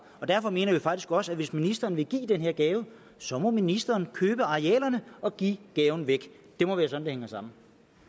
derfor mener vi faktisk også at hvis ministeren vil give den her gave så må ministeren købe arealerne og give gaven væk det må være sådan det hænger sammen